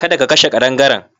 Kada ka kashe ƙadangaren.